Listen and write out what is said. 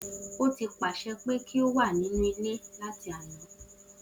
O ti paṣẹ pe ki o wa ninu ile lati ana.